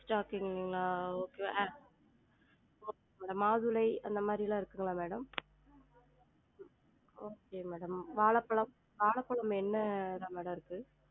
Stock இல்லைங்களா? okay மாதுளை அந்த மாறிலாம் இருக்குங்களா madam? okay madam வாழப்பழம்? வாழப்பழம் என்னலாம் madam இருக்கு?